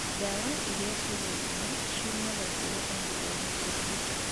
Dawa iria tũgũraga ciumaga kũrĩ andũ ehokeku.